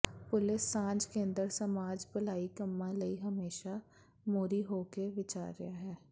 police ਸਾਂਝ ਕੇਂਦਰ ਸਮਾਜ ਭਲਾਈ ਕੰਮਾਂ ਲਈ ਹਮੇਸ਼ਾ ਮੋਹਰੀ ਹੋ ਕੇ ਵਿਚਰਿਆ ਹੈ